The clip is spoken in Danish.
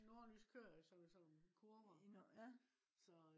nordlys kører jo så i sådan nogle kurver